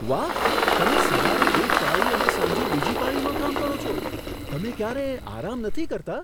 વાહ! તમે સવારે એક પાળી અને સાંજે બીજી પાળીમાં કામ કરો છો! તમે ક્યારેય આરામ નથી કરતા?